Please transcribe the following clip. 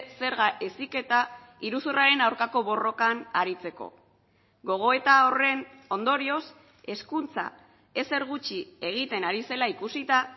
zerga heziketa iruzurraren aurkako borrokan aritzeko gogoeta horren ondorioz hezkuntza ezer gutxi egiten ari zela ikusita